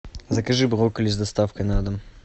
закажи брокколи с доставкой на дом